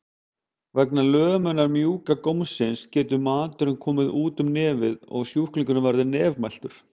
Vegna lömunar mjúka gómsins getur maturinn komið út um nefið og sjúklingurinn verður nefmæltur.